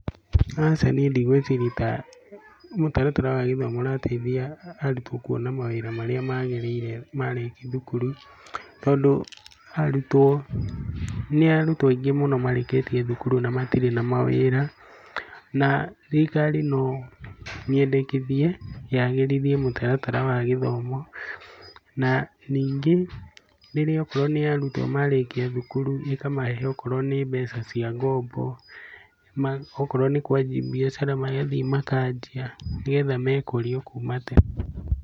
Aca niĩ ndigwĩciria ta mũtaratara wa gĩthomo ũrateithia arutwo kuona mawĩra marĩa magĩrĩire marĩkia thukuru tondũ arutwo, nĩ arutwo aingĩ mũno marĩkĩtie thukuru na matirĩ na mawĩra na thirikari no nyendekithie yagĩrithie mũtaratara wa gĩthomo na ningĩ rĩrĩa okorwo nĩ arutwo marĩkia thukuru, ĩkamahe okorwo nĩ mbeca cia ngombo, okorwo nĩ kuanjia mbiacara magathiĩ makanjia nĩgetha mekũrie o kuma tene.